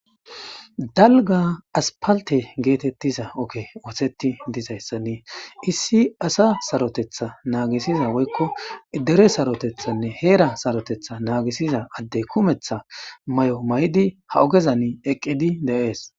dalga aspalte geetettiza okke ooteti dizayssanni issi asa sarotetha naagisiza woykko dere sarotethanne heera sarotetha naagisiza adde kumeththa may7o may7di ha ogezan eqqidi de7ees